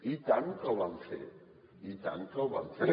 i tant que el vam fer i tant que el vam fer